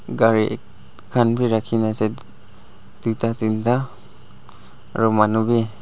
cari ek kan b raki kina ase tuita dinta aro manu b.